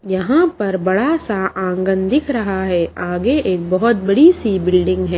यहां पर बड़ा सा आंगन दिख रहा है आगे एक बहुत बड़ी सी बिल्डिंग है।